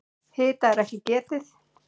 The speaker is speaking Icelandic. Hita er ekki getið.